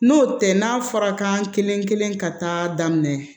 N'o tɛ n'a fɔra kan kelen kelen ka taa daminɛ